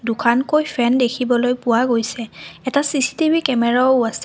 দুখানকৈ fan দেখিবলৈ পোৱা গৈছে এটা চি_চি_টি_ভি কেমেৰাও আছে।